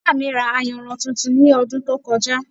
Ìyá mi ra ayanran tuntun ní ọdún tó kọjá